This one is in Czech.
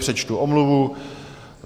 Přečtu omluvu.